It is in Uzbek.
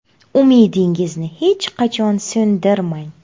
Umidingizni hech qachon so‘ndirmang!